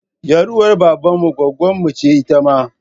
Ƴar uwar baban mu gwaggonmu ce ita ma.